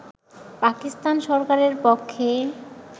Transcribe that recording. পাকিস্তান সরকারের পক্ষে